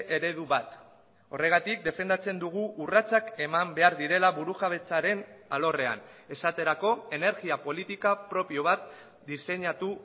eredu bat horregatik defendatzen dugu urratsak eman behar direla burujabetzaren alorrean esaterako energia politika propio bat diseinatu